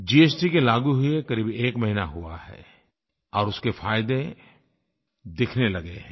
GST के लागू हुए क़रीब एक महीना हुआ है और उसके फ़ायदे दिखने लगे हैं